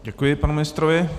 Děkuji panu ministrovi.